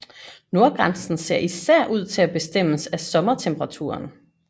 Nordgrænsen ser især ud til at bestemmes af sommertemperaturen